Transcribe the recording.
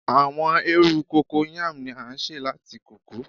Awọn eerun Cocoyam ni a ṣe lati koko